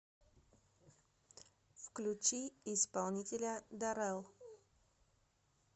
включи исполнителя дарэл